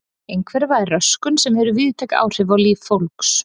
Einhverfa er röskun sem hefur víðtæk áhrif á líf fólks.